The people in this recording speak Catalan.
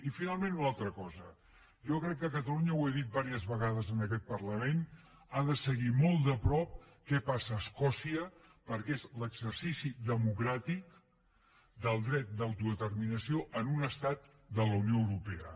i finalment una altra cosa jo crec que catalunya ho he dit diverses vegades en aquest parlament ha de seguir molt de prop què passa a escòcia perquè és l’exercici democràtic del dret d’autodeterminació en un estat de la unió europea